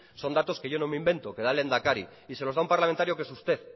son datos que yo no me invento que da el lehendakari y se los da un parlamentario que es usted